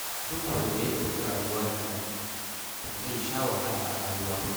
Duk wanda ya ɗauki rayuwa da zafi, to zai sha wahala a rayuwa.